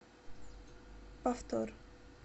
повтор